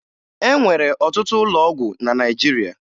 E nwere ọtụtụ ụlọ ọgwụ na Naịjirịa